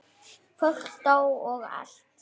Fólk dó og allt.